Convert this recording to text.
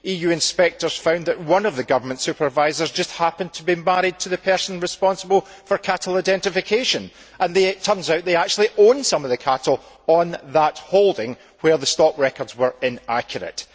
EU inspectors found that one of the government supervisors just happened to be married to the person responsible for cattle identification and it turned out that they actually own some of the cattle on that holding where the stock records were inaccurate.